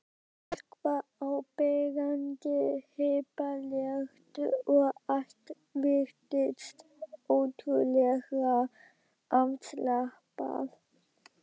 Fólk var áberandi hippalegt og allt virtist ótrúlega afslappað.